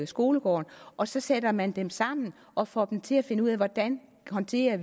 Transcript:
skolegården og så sætter man dem sammen og får dem til at finde ud af hvordan de håndterer